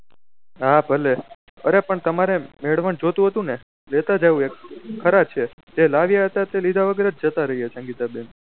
હા ભલે અરે પણ તમારે મેળવન જોતું હતું ને લેતા જાઉં ખરા છે તે લાવ્યા હતા તે લીધા વગર જ જતા રહ્યા સંગીતા બેન